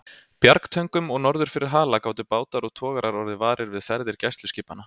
Bjargtöngum og norður fyrir Hala gátu bátar og togarar orðið varir við ferðir gæsluskipanna.